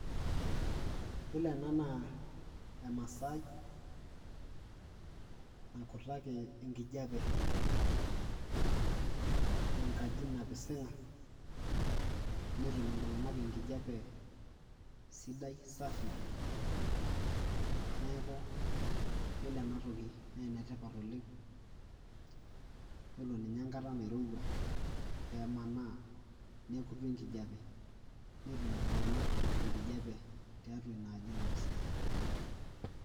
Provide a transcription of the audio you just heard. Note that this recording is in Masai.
Yiolo ena naa emasaai nakutaki enkijape enkaji napisinga , netum iltunganak enkijape sidai safi neeku yioloena toki naa ene tipat oleng . Yiolo ninye enkata nairowua pemanaa nekutu enkijape, netum iltunganak enkijape tiatua inaaaji napisinga.